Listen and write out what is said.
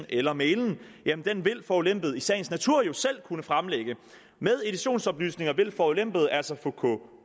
eller mailen vil forulempede i sagens natur jo selv kunne fremlægge med editionsoplysninger vil forulempede altså